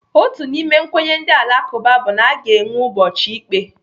Otu n'ime nkwenye ndị Alakụba bụ na aga enwe ụbọchị ikpe.